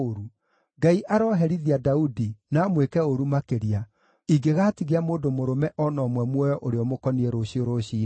Ngai aroherithia Daudi, na amwĩke ũũru makĩria, ingĩgaatigia mũndũ mũrũme o na ũmwe muoyo ũrĩa ũmũkoniĩ rũciũ rũciinĩ!”